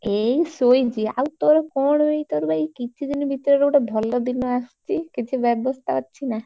ଏଇ ଶୋଇଛି ଆଉ ତୋର କଣ ଏଇ ତୋର ବା ଏଇ କିଛି ଦିନ ଭିତରେ ଗୋଟେ ଭଲ ଦିନ ଆସୁଛି କିଛି ବ୍ଯବସ୍ତା ଅଛି ନା।